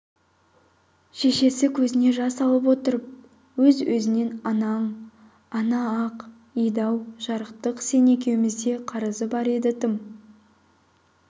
шешесі көзіне жас алып отырып өз-өзінен анаң ана-ақ еді-ау жарықтық сен екеумізде қарызы бар еді тым